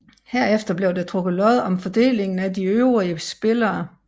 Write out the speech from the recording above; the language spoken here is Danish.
Herefter blev der trukket lod om fordelingen af de øvrige spillere